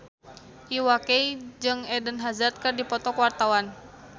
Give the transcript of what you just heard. Iwa K jeung Eden Hazard keur dipoto ku wartawan